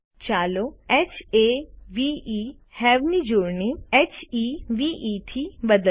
ચાલો હવે ની જોડણી હેવે થી બદલીએ